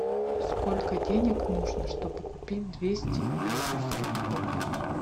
сколько денег нужно чтобы купить двести белорусских рублей